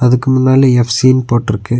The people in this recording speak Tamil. இதுக்கு முன்னால எஃப் சீனு போட்ருக்கு.